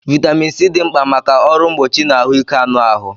Vaitamin C dị mkpa maka ọrụ mgbochi na ahụike anụ ahụ